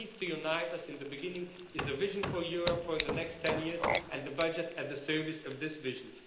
What needs to unite us in the beginning is a vision for Europe for the next 10 years and the budget at the service of this vision.